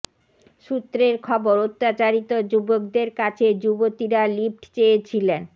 সূত্রের খবর অত্যাচারিত যুবকদের কাছে যুবতীরা লিফট চেয়েছিলেন